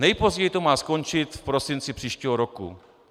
Nejpozději to má skončit v prosinci příštího roku.